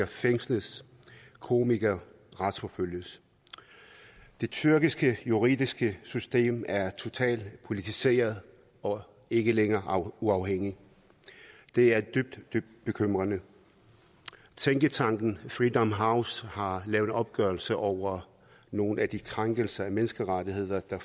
fængsles komikere retsforfølges det tyrkiske juridiske system er totalt politiseret og ikke længere uafhængigt det er dybt dybt bekymrende tænketanken freedom house har lavet en opgørelse over nogle af de krænkelser af menneskerettigheder der